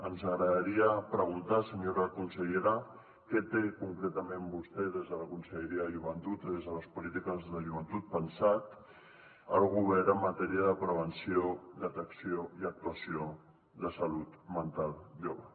ens agradaria preguntar senyora consellera què té concretament vostè des de la conselleria de joventut des de les polítiques de joventut pensat el govern en matèria de prevenció detecció i actuació de salut mental jove